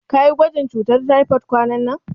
Kayi gwajin cutar taifod kwananan?